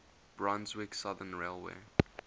brunswick southern railway